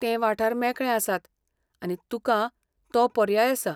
ते वाठार मेकळे आसात, आनी तुकां तो पर्याय आसा.